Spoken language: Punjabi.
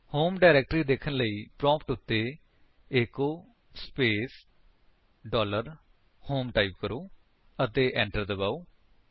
ਹੋਮ ਡਾਇਰੇਕਟਰੀ ਦੇਖਣ ਲਈ ਪ੍ਰੋਂਪਟ ਉੱਤੇ echo space dollar home type ਕਰੋ ਅਤੇ enter ਦਬਾਓ